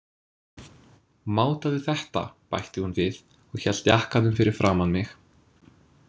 Mátaðu þetta, bætti hún við og hélt jakkanum fyrir framan mig.